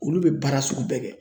Olu bɛ baara sugu bɛɛ kɛ.